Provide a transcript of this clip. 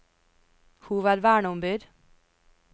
hovedverneombud